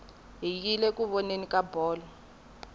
hi yile ku voneni ka bolo